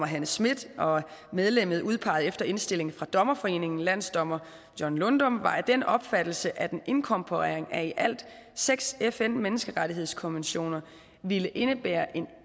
hanne schmidt og medlemmet udpeget efter indstilling fra dommerforeningen landsdommer john lundum var af den opfattelse at en inkorporering af i alt seks fn menneskerettighedskonventioner ville indebære en